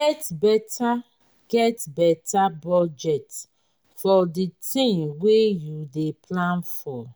get better get better budget for the thing wey you dey plan for